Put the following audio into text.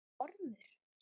Verður ormur.